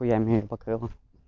хуями их покрыла